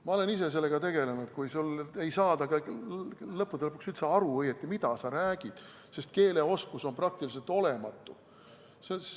Ma olen ise sellega tegelenud, kui ei saadud lõppude lõpuks üldse õieti aru, mida sa räägid, sest keeleoskus oli praktiliselt olematu.